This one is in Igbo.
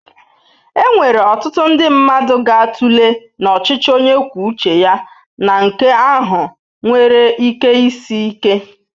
Enwere ọtụtụ ndị mmadụ ga-atụle na ọchịchị onye kwuo uche ya na nke ahụ nwere ike isi ike.